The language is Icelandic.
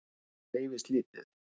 Krónan hreyfist lítið